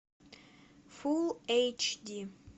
фулл эйч ди